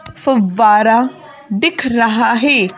फुवारा दिख रहा है।